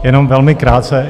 Jenom velmi krátce.